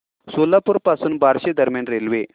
सोलापूर पासून बार्शी दरम्यान रेल्वे